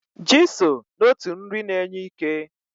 Ji so n'otu nri na-enye ike.